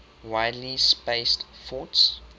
widely spaced forts